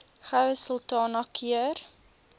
goue sultana keur